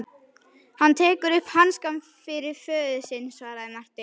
Hann tekur upp hanskann fyrir föður sinn, svaraði Marteinn.